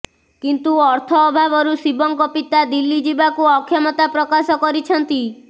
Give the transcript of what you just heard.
କିନ୍ତୁ ଅର୍ଥ ଅଭାବରୁ ଶିବଙ୍କ ପିତା ଦିଲ୍ଲୀ ଯିବାକୁ ଅକ୍ଷମତା ପ୍ରକାଶ କରିଛନ୍ତି